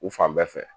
U fan bɛɛ fɛ